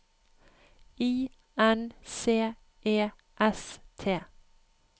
I N C E S T